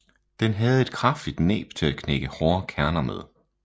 Den havde et kraftigt næb til at knække hårde kerner med